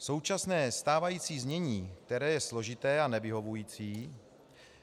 Současné, stávající znění, které je složité a nevyhovující,